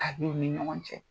A denw ni ɲɔgɔn cɛ.